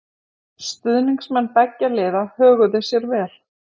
Stuðningsmenn beggja liða höguðu sér vel.